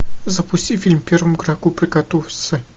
запусти фильм первому игроку приготовиться